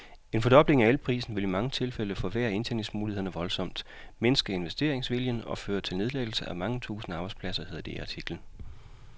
En fordobling af elprisen ville i mange tilfælde forværre indtjeningsmulighederne voldsomt, mindske investeringsviljen og føre til nedlæggelse af mange tusinde arbejdspladser, hedder det i artiklen.